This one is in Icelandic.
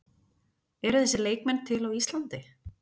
Eru þessir leikmenn til á Íslandi?